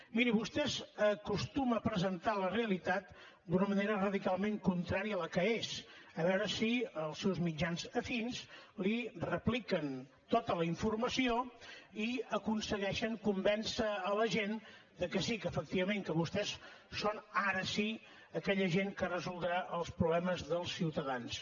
miri vostès acostumen a presentar la realitat d’una manera radicalment contrària a la que és a veure si els seus mitjans afins li repliquen tota la informació i aconsegueixen convèncer la gent que sí que efectivament que vostès són ara sí aquella gent que resoldrà els problemes dels ciutadans